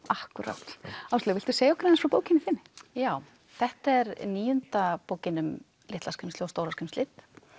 akkúrat Áslaug viltu segja okkur aðeins frá bókinni þinni já þetta er níunda bókin um litla skrímslið og stóra skrímslið